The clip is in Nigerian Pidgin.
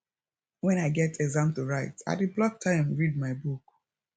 wen i get exam to write i dey block time read my book